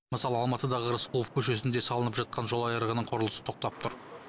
мысалы алматыдағы рысқұлов көшесінде салынып жатқан жол айырығының құрылысы тоқтап тұр